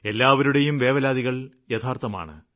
എല്ലാവരുടെയും വേവലാതികള് യഥാര്ത്ഥമാണ്